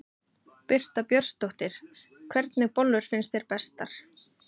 Birta Björnsdóttir: Hvernig bollur finnst þér bestar?